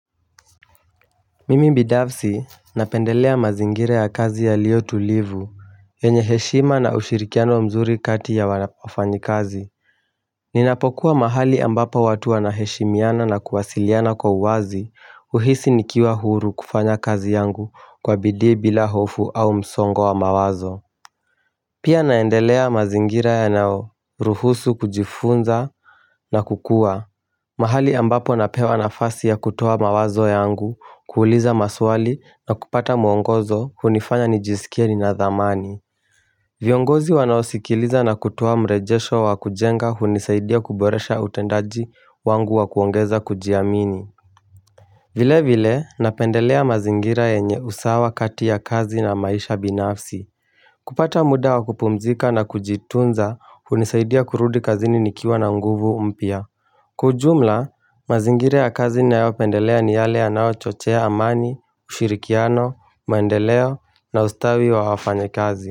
Mimi binafsi napendelea mazingira ya kazi yaliyo tulivu yenye heshima na ushirikiano mzuri kati ya wana fanyikazi Ninapokuwa mahali ambapo watu wanaheshimiana na kuwasiliana kwa uwazi uhisi nikiwa huru kufanya kazi yangu kwa bidii bila hofu au msongo wa mawazo Pia naendelea mazingira yanao ruhusu kujifunza na kukua mahali ambapo napewa nafasi ya kutoa mawazo yangu kuuliza maswali na kupata mwongozo hunifanya nijisikie ninadhamani. Viongozi wanaosikiliza na kutoa mrejesho wa kujenga hunisaidia kuboresha utendaji wangu wa kuongeza kujiamini. Vile vile napendelea mazingira yenye usawa kati ya kazi na maisha binafsi. Kupata muda wa kupumzika na kujitunza hunisaidia kurudi kazini nikiwa na nguvu mpya. Kwa jumla, mazingira kazi nayopendelea ni yale yanao chochea amani, ushirikiano, maendeleo na ustawi wa wafanyakazi.